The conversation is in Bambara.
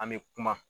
An bɛ kuma